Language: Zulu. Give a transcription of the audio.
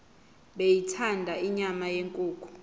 beyithanda inyama yenkukhu